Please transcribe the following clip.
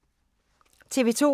TV 2